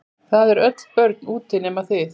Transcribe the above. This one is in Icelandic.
Það eru öll börn úti nema þið.